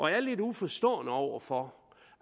jeg er lidt uforstående over for